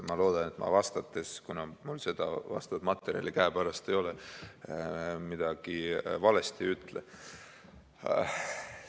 Ma loodan, et ma vastates, kuna mul seda vastavat materjali käepärast ei ole, midagi valesti ei ütle.